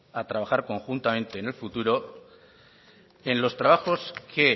a trabajar conjuntamente en el futuro en los trabajos que